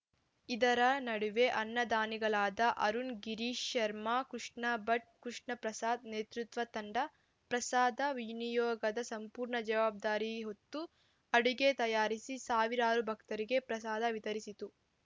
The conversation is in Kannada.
ಇದರ ನಡುವೆ ಅನ್ನದಾನಿಗಳಾದ ಅರುಣ್‌ ಗಿರೀಶ್‌ ಶರ್ಮಾ ಕೃಷ್ಣಭಟ್‌ ಕೃಷ್ಣಪ್ರಸಾದ್‌ ನೇತೃತ್ವ ತಂಡ ಪ್ರಸಾದ ವಿನಿಯೋಗದ ಸಂಪೂರ್ಣ ಜವಾಬ್ದಾರಿ ಹೊತ್ತು ಅಡುಗೆ ತಯಾರಿಸಿ ಸಾವಿರಾರು ಭಕ್ತರಿಗೆ ಪ್ರಸಾದ ವಿತರಿಸಿತು